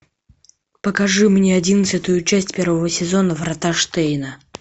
покажи мне одиннадцатую часть первого сезона врата штейна